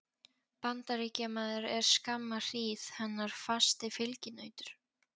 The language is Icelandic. Bandaríkjamaður er skamma hríð hennar fasti fylginautur.